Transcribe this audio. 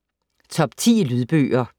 Top 10 Lydbøger